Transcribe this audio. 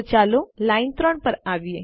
તો ચાલો લાઈન ૩ પર આવીએ